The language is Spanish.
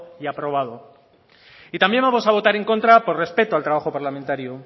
y aprobado y también vamos a votar en contra por respeto al trabajo parlamentario